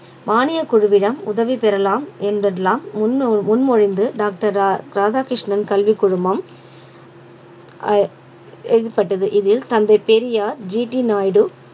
மானியக் குழுவிடம் உதவி பெறலாம் என்பதெல்லாம் முன்மொழிந்து டாக்டர் ராதா~ ராதாகிருஷ்ணன் கல்விக் குழுமம் அஹ் ஏற்பட்டது இதில் தந்தை பெரியார் ஜி டி நாயுடு